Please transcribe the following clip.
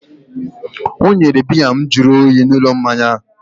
o nyere biya m jụrụ oyi n'ụlọ mmanya a